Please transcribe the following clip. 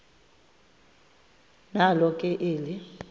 nalo ke eli